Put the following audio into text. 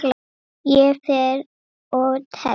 Ég fer og tefli!